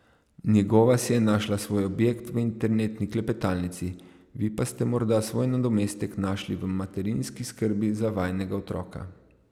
Njegova si je našla svoj objekt v internetni klepetalnici, vi pa ste morda svoj nadomestek našli v materinski skrbi za vajinega otroka.